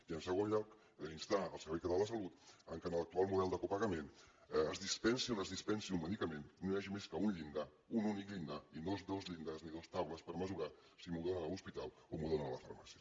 i en segon lloc instar el servei català de la salut que en l’actual model de copagament es dispensi on es dispensi un medicament no hi hagi més que un únic llindar i no dos llindars i dues taules per mesurar si m’ho donen a l’hospital o m’ho donen a la farmàcia